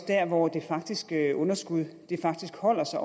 der hvor det faktiske underskud faktisk holder sig